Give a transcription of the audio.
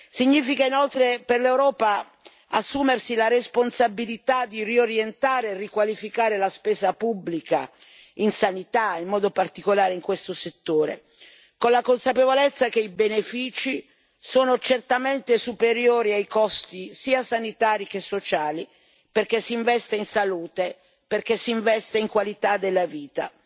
Significa, inoltre, per l'Europa assumersi la responsabilità di riorientare e riqualificare la spesa pubblica a favore della sanità, in modo particolare in questo settore, con la consapevolezza che i benefici sono certamente superiori ai costi, sia sanitari che sociali, perché si investe in salute, perché si investe in qualità della vita.